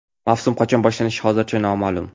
Mavsum qachon boshlanishi hozircha noma’lum.